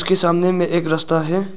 सामने में एक रास्ता है।